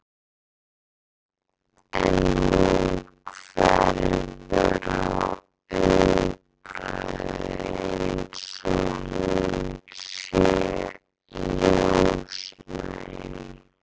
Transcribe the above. En hún hverfur á augabragði eins og hún sé ljósnæm.